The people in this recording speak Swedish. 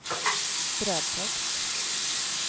brödtext